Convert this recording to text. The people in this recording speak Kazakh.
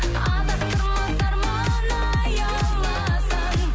адастырмас арман аяуласаң